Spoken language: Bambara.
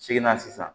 Seginna sisan